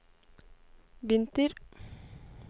vinter